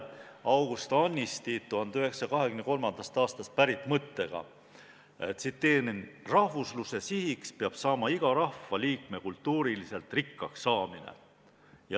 Tsiteerin August Annisti 1923. aastast pärit mõtet: "Rahvusluse sihiks peab saama iga rahva liikme kultuuriliselt rikkaks saamine.